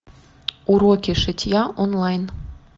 уроки шитья онлайн